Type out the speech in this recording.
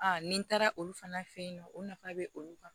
ni n taara olu fana fɛ yen nɔ o nafa bɛ olu kan